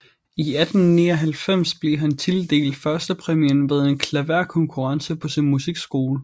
I 1899 blev han tildelt førstepræmien ved en klaverkonkurrence på sin musikskole